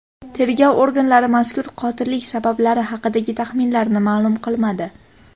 Tergov organlari mazkur qotillik sabablari haqidagi taxminlarini ma’lum qilmadi.